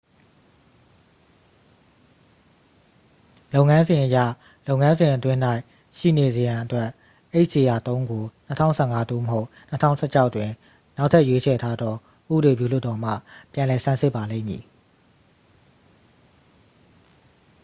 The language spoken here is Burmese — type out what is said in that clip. လုပ်ငန်းစဉ်အရ လုပ်ငန်းစဉ်အတွင်း၌ရှိနေစေရန်အတွက် hjr-3 ကို 2015 သို့မဟုတ် 2016 တွင် နောက်ထပ်ရွေးချယ်ထားသော ဥပဒေပြုလွှတ်တော်မှ ပြန်လည်ဆန်းစစ်ပါလိမ့်မည်